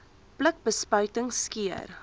pluk bespuiting skeer